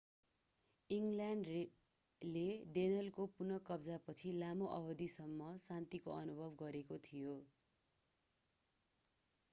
इङ्ग्ल्यान्डले डेनलको पुनः कब्जापछि लामो अवधिसम्म शान्तिको अनुभव गरेको थियो